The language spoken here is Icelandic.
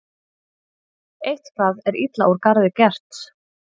Eitthvað er illa úr garði gert